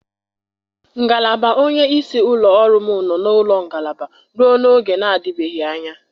Ngalaba onye isi ụlọ ọrụ m nọ na ụlọ ngalaba ruo n'oge na-adịbeghị anya